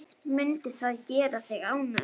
Mundi það gera þig ánægða?